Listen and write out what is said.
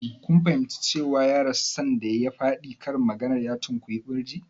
Kun fahimci cewa ya rasu sanda ya faɗi karin maganar "ya tunkuyi birji"?